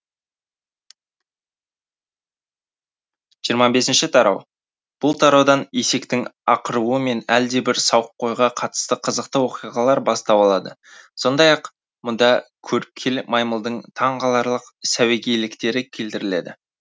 жырма бесінші тарау бұл тараудан есектің ақыруы мен әлдебір сауыққойға қатысты қызықты оқиғалар бастау алады сондай ақ мұнда көріпкел маймылдың таңғаларлық сәуегейліктері келтіріледі